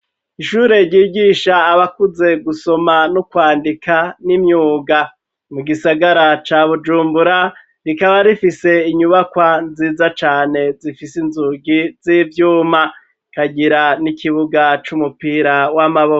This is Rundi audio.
Ishure ryigisha abakuze gusoma no kwandika n'imyuga mu gisagara ca bujumbura rikaba rifise inyubakwa nziza cane zifise inzugi z'ivyuma kagira n'ikibuga c'umupira w'amaboko.